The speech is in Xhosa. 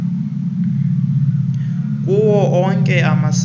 kuwo onke amasebe